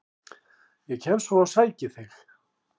Ég kem svo og sæki þig.